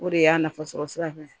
O de y'a nafasɔrɔ sira ye